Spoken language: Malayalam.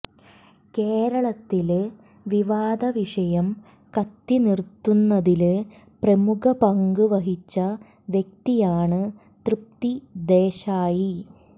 കേരളത്തില് വിവാദവിഷയം കത്തിച്ച് നിര്ത്തുന്നതില് പ്രമുഖ പങ്ക് വഹിച്ച വ്യക്തിയാണ് തൃപ്തി ദേശായി